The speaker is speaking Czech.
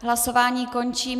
Hlasování končím.